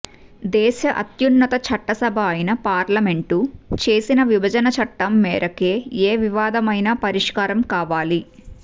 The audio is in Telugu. దేశ అత్యున్నత చట్టసభ అయిన పార్లమెంటు చేసిన విభజన చట్టం మేరకే ఏ వివాదమైనా పరిష్కారం కావాలి